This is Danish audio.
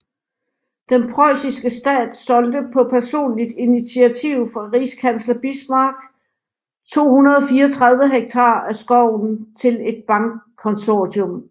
Den preussiske stat solgte på personligt initiativ fra rigskansler Bismarck 234 hektar af skoven til et bankkonsortium